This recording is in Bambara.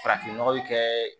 Farafin nɔgɔ bɛ kɛ